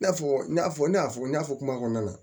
I n'a fɔ i n'a fɔ ne y'a fɔ n y'a fɔ kuma kɔnɔna na